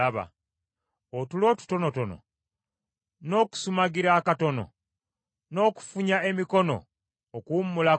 Otulo otutonotono, n’okusumagira akatono, n’okufunya emikono okuwummulako,